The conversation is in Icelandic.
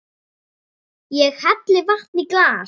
Ég helli vatni í glas.